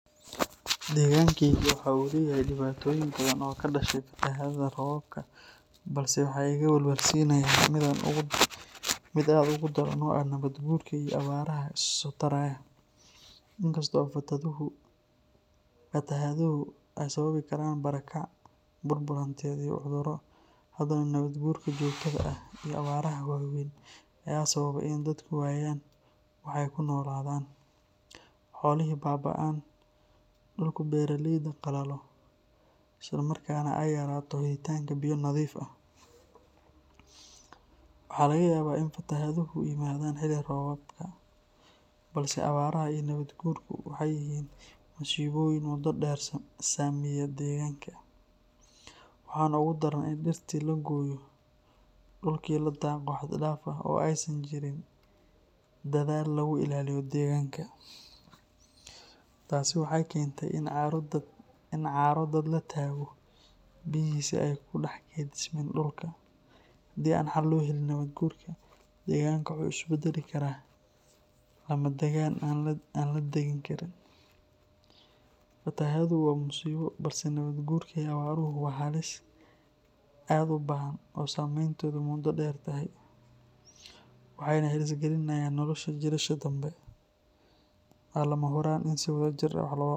Degankayga waxa uu leeyahay dhibaatooyin badan oo ka dhashay fatahaadaha roobabka, balse waxa iga walwalsiinaya mid aad uga daran oo ah nabaad guurka iyo abaaraha isa soo taraya. In kasta oo fatahaaduhu ay sababi karaan barakac, burbur hantiyeed, iyo cudurro, haddana nabaad guurka joogtada ah iyo abaaraha waaweyn ayaa sababay in dadku waayaan wax ay ku noolaadaan, xoolihii baab’aan, dhulkii beeraleyda qalalo, isla markaana ay yaraato helitaanka biyo nadiif ah. Waxaa laga yaabaa in fatahaaduhu yimaadaan xilli roobaadka, balse abaaraha iyo nabaad guurku waxay yihiin masiibooyin muddo dheer saameeya deegaanka. Waxaana ugu daran in dhirtii la gooyo, dhulkii la daaqo xad dhaaf ah, oo aysan jirin dadaal lagu ilaalinayo deegaanka. Taasi waxay keentay in carro daad la tago, biyihiina aysan ku dhex kaydsamin dhulka. Haddii aan xal loo helin nabaad guurka, deegaanka waxa uu isu beddeli karaa lamadagaan aan la deggan karin. Fatahaaddu waa musiibo, balse nabaad guurka iyo abaaruhu waa halis aad u ba’an oo saameynteedu muddo dheer tahay, waxayna halis gelinayaan nolosha jiilasha dambe. Waxaa lama huraan ah in si wadajir ah wax looga qabto.